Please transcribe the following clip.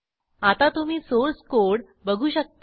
आता तुम्ही source code बघू शकता